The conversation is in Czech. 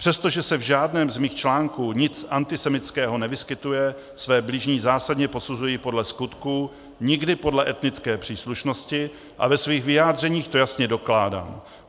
Přestože se v žádném z mých článků nic antisemitského nevyskytuje, své bližní zásadně posuzuji podle skutků, nikdy podle etnické příslušnosti a ve svých vyjádřeních to jasně dokládám.